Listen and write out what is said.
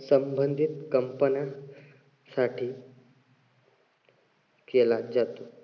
संबंधित company साठी केला जातो.